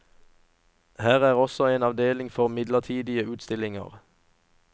Her er også en avdeling for midlertidige utstillinger.